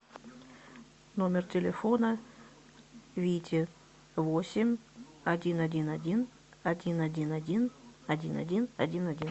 номер телефона вити восемь один один один один один один один один один один